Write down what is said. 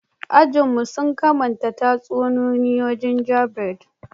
Ajin mu, sun kamanta tatsuniya gingerbread.